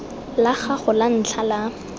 la gago la ntlha la